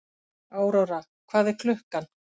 Aurora, hvað er klukkan?